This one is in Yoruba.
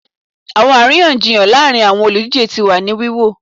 Awọn ariyanjiyan laarin awọn oludije ti wa ni wiwo